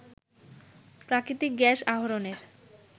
প্রাকৃতিক গ্যাস আহরণের